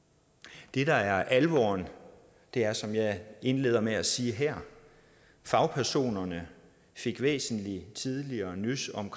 det der er alvoren er som jeg indledte med at sige her at fagpersonerne fik væsentlig tidligere nys om